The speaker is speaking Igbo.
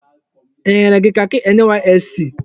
E nyere gị kakị NYSC?